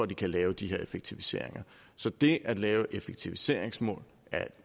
de kan lave de her effektiviseringer så det at lave effektiviseringsmål er et